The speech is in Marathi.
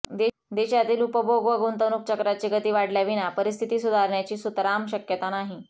देशातील उपभोग व गुंतवणूक चक्राची गती वाढल्याविना परिस्थिती सुधारण्याची सुतराम शक्यता नाही